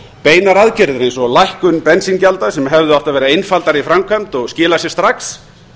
beinar aðgerðir eins og lækkun bensíngjalda sem hefðu átt að vera einfaldari í framkvæmd og skila sér strax